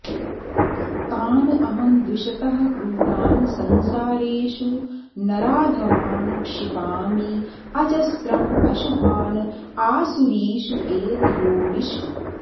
तान् अहं द्विषतः क्रूरान् संसारेषु नराधमान् क्षिपामि अजस्रम् अशुभान् आसुरीषु एव योनिषु